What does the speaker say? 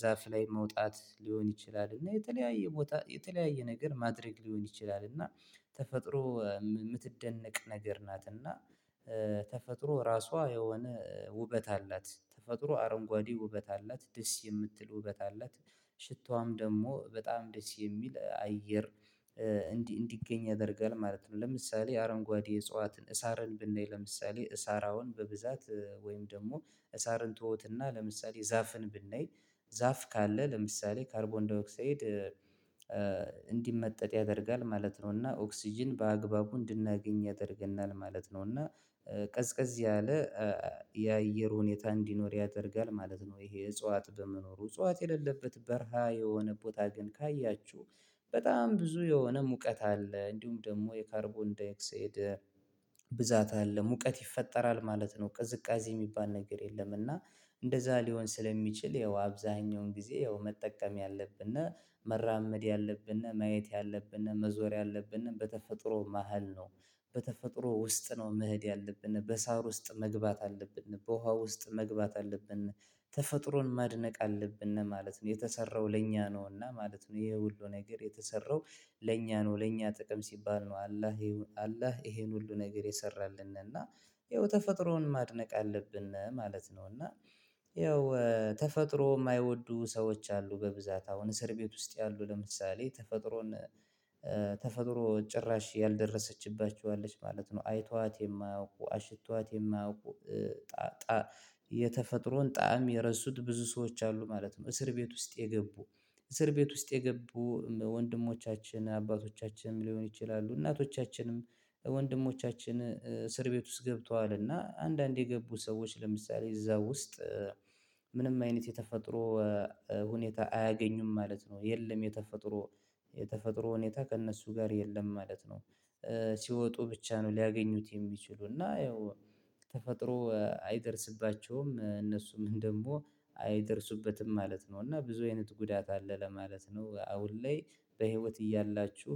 ዛፍ ላይ መውጣት ሊሆን ይችላል። እና የተለያየ ቦታ የተለያየ ነገር ማድረግ ሊሆን ይችላል። እና ተፈጥሮ የምትደነቅ ነገር ናት። እና ተፈጥሮ ራሷ የሆነ ውበት አላት። ተፈጥሮ አረንጓዴ ውበት አላት። ደስ የምትል ውበት አላት። ሽታዋም ደግሞ በጣም ደስ የሚል አየር እንዲህ እንዲገኝ ያደርጋል ማለት ነው። ለምሳሌ አረንጓዴ እጽዋትን ሳርን ብናይ ለምሳሌ ሳር አአሁን በብዛት ወይም ደግሞ ሳርን ትዉትና ለምሳሌ ዛፍን ብንይ ዛፍ ካለ ለምሳሌ ካርቦንዳይኦክሳይድ እንዲመጠጥ ያደርጋል ማለት ነው። እና ኦክስጅን በአግባቡ እንድናገኝ ያደርገናል ማለት ነው። እና ቀዝቀዝ ያለ የአየር ሁኔታ እንዲኖር ያደርጋል ማለት ነው። ይሄ እጽዋት በመኖሩ እጽዋት የሌለበት በረሃ የሆነ ቦታ ግን ካያችሁ በጣም ብዙ የሆነ ሙቀት አለ። እንዲሁም ደግሞ የካርቦንዳይኦክሳይድ ብዛት አለ። ሙቀት ይፈጠራል ማለት ነው። ቅዝቃዜ የሚባል ነገር የለም። እና እንደዛ ሊሆን ስለሚችል ያው አብዛኛውን ጊዜ ያው መጠቀም ያለብን፣ መራመድ ያለብን፣ ማየት ያለብን፣ መዞር ያለብን በተፈጥሮ መሃል ነው። በተፈጥሮ ውስጥ ነው መሄድ ያለብን። በሳር ውስጥ መግባት አለብን። በውሃ ውስጥ መግባት አለብን። ተፈጥሮን ማድነቅ አለብን ማለት ነው። የተሰራው ለእኛ ነውና ማለት ነው። ይሄ ሁሉ ነገር የተሰራው ለእኛ ነው። ለእኛ ጥቅም ሲባል ነው አላህ አላህ ይሄን ሁሉ ነገር የሰራልን። እና ይኸው ተፈጥሮን ማድነቅ አለብን ማለት ነው። እና ይኸው ተፈጥሮ የማይወዱ ሰዎች አሉ በብዛት አሁን እስር ቤት ውስጥ ያሉ ለምሳሌ ተፈጥሮን ተፈጥሮ ጭራሽ ያልደረሰችባቸው አለች ማለት ነው። አይቷዋት የማያውቁ አሽተዋት የማያውቁ የተፈጥሮን ጣዕም የረሱት ብዙ ሰዎች አሉ ማለት ነው። እስር ቤት ውስጥ የገቡ፣ እስር ቤት ውስጥ የገቡ ወንድሞቻችን አባቶቻችን ሊሆን ይችላሉ እናቶቻችንም፣ ወንድሞቻችን እስር ቤት ውስጥ ገብተዋል እና አንዳንድ የገቡ ሰዎች ለምሳሌ እዛ ውስጥ ምንም አይነት የተፈጥሮ ሁኔታ አያገኙም ማለት ነው። የለም የተፈጥሮ፣ የተፈጥሮ ሁኔታ ከእነሱ ጋር የለም ማለት ነው። ሲወጡ ብቻ ነው ሊያገኙት የሚችሉ። እና ያው ተፈጥሮ አይደርስባቸውም እነሱም ደግሞ አይደርሱበትም ማለት ነው። እና ብዙ አይነት ጉዳት አለ ለማለት ነው አሁን ላይ በህይወት እያላችሁ